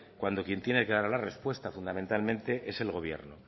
cuando quien tiene clara la respuesta fundamentalmente es el gobierno